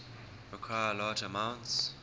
require large amounts